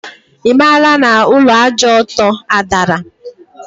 Imaala na Ulọ Àjà Ọtọ adara?